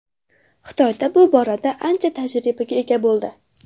Xitoy bu borada ancha tajribaga ega bo‘ldi.